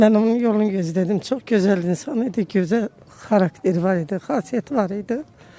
Mən onun yolunu gözlədim, çox gözəl insan idi, gözəl xarakteri var idi, xasiyyəti var idi.